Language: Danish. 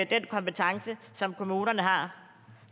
den kompetence som kommunerne har